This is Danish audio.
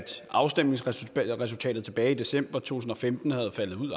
afstemningsresultatet tilbage i december to tusind og femten var faldet